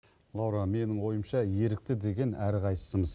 лаура менің ойымша ерікті деген әрқайсысымыз